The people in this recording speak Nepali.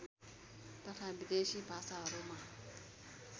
तथा विदेशी भाषाहरूमा